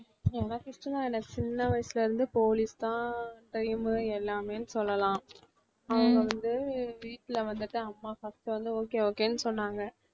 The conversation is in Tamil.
எனக்கு இஷ்டம் தான் சின்ன வயசுல இருந்தே police தான் dream உ எல்லாமேன்னு சொல்லலாம். அவங்க வந்து வீட்ல வந்துட்டு அம்மா first உ வந்து okay okay ன்னு சொன்னாங்க